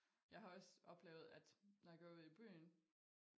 Jeg har også oplevet at når jeg går ud i byen